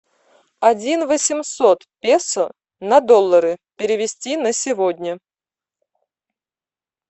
один восемьсот песо на доллары перевести на сегодня